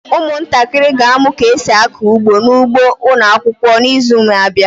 Ụmụntakịrị ga-amụ ka esi akọ ugbo n'ugbo ụlọakwụkwọ n'izu n'abịa.